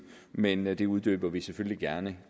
men men det uddyber vi selvfølgelig gerne